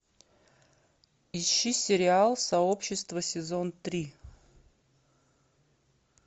ищи сериал сообщество сезон три